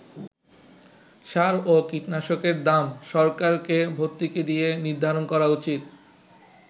সার ও কীটনাশকের দাম সরকারকে ভর্তুকি দিয়ে নির্ধারণ করা উচিত”।